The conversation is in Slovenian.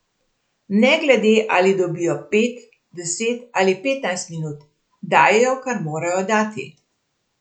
Ne glede, ali dobijo pet, deset ali petnajst minut, dajejo, kar morajo dati.